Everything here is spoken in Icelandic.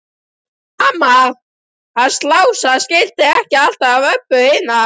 En mamma hans Lása skildi ekki alltaf Öbbu hina.